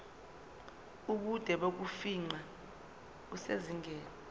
ubude bokufingqa kusezingeni